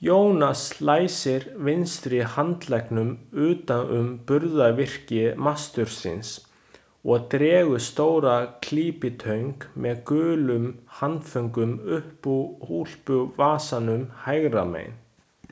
Jónas læsir vinstri handleggnum utan um burðarvirki mastursins og dregur stóra klípitöng með gulum handföngum upp úr úlpuvasanum hægra megin.